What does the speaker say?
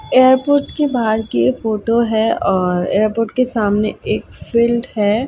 Airport के बाहर की ये फोटो है और एयरपोर्ट के सामने एक फील्ड है।